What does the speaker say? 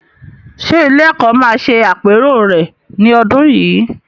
Ṣé ilé-ẹ̀kọ́ máa ṣe àpérò rẹ̀ ní ọdún yìí?